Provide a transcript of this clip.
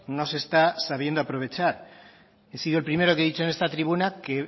no se está sabiendo aprovechar he sido el primero que he dicho en esta tribuna que